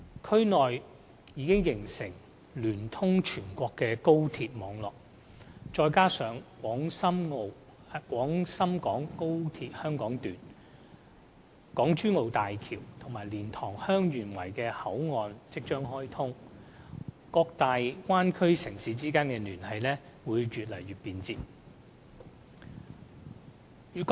區內已形成聯通全國的高速鐵路網絡，再加上廣深港高速鐵路香港段、港珠澳大橋和蓮塘/香園圍口岸即將開通，各大灣區城市之間的聯繫將越趨便捷。